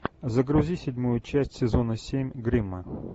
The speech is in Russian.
загрузи седьмую часть сезона семь гримма